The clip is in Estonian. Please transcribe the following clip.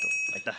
Aitäh!